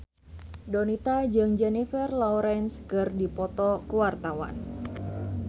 Donita jeung Jennifer Lawrence keur dipoto ku wartawan